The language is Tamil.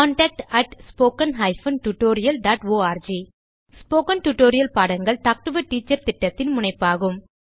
contact at spoken hyphen tutorial dot org spoken tutorial பாடங்கள் டாக் டு எ டீச்சர் திட்டத்தின் முனைப்பாகும்